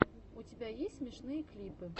у тебя есть смешные клипы